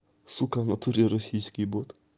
сука в натуре российский бот